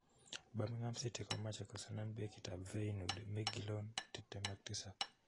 Birmingham city komache kusani bekit ap feyenooord Miquelon 27